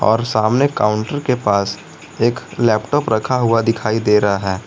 और सामने काउंटर के पास एक लैपटॉप रखा हुआ दिखाई दे रहा है।